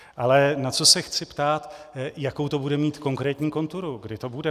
Ale na co se chci ptát, jakou to bude mít konkrétní konturu, kdy to bude.